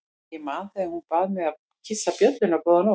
Ég man þegar hún bað mig að kyssa bjölluna góða nótt.